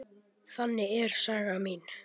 Þannig er saga mín.